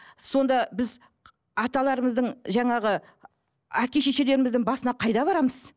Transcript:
сонда біз аталарымыздың жаңағы әке шешелеріміздің басына қайда барамыз